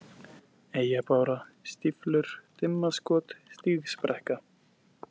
Eyjabára, Stíflur, Dimmaskot, Stígsbrekka